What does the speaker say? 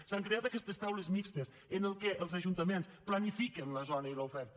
s’han creat aquestes taules mixtes en les quals els ajuntaments planifiquen la zona i l’oferta